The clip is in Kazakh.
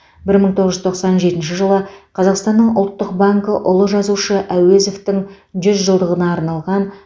бір мың тоғыз жүз тоқсан жетінші жылы қазақстанның ұлттық банкі ұлы жазушы әуезовтің жүз жылдығына арналған